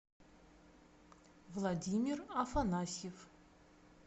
владимир афанасьев